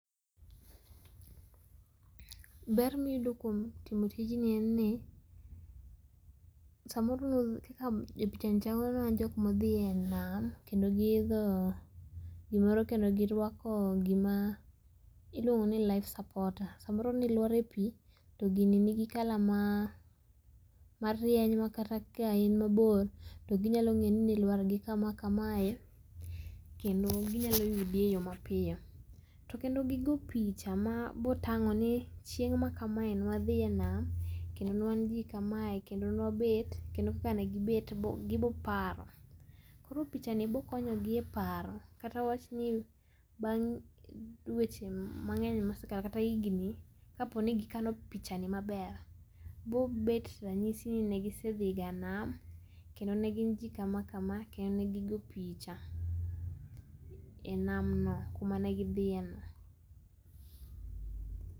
Ber miyudo kuom timo tijni enni samoro nudh kaka e pichani chalona jok modhie nam kendo giidho gimoro kendo girwako gima iluongo ni life supporter. Samoro nilwar e pii to gini nigi kala ma marieny makata ka in mabor to ginyalo ng'eni ni lwar gi kama kamakamae kendo ginyalo yudi e yoo mapio. To kendo gigo picha mabotang'oni chieng' makamae nwadhie nam kendo nwan jii kamae kendo nwabet kendo kaka negibet giboparo. Koro pichani bokonyogi e paro katawachni bang' dweche mang'eny mosekalo kata higni kaponi gikano pichani maber bobet ranyisi ni negisedhiga nam kendo negin jii kamakama kendo negigo picha e nam no kuma negi dhie no.